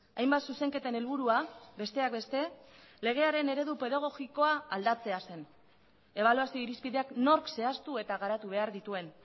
hainbat zuzenketen helburua besteak beste legearen eredu pedagogikoa aldatzea zen ebaluazio irizpideak nork zehaztu eta garatu behar dituen